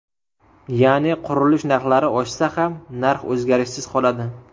Ya’ni qurilish narxlari oshsa ham, narx o‘zgarishsiz qoladi.